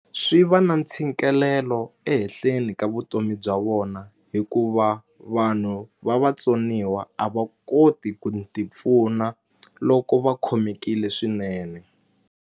Swi va na ntshikelelo ehehleni ka vutomi bya vona hikuva vanhu va vatsoniwa a va koti ku ti pfuna loko va khomekile swinene.